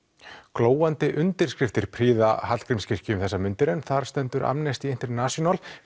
glóandi undirskriftir prýða Hallgrímskirkju um þessar mundir en þar stendur Amnesty International